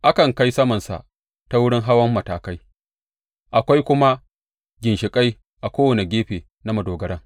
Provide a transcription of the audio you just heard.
A kan kai samansa ta wurin hawan matakai, akwai kuma ginshiƙai a kowane gefe na madogaran.